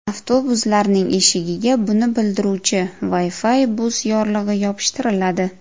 Avtobuslarning eshigiga buni bildiruvchi Wi-Fi Bus yorlig‘i yopishtiriladi.